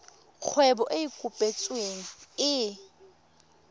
kgwebo e e kopetsweng e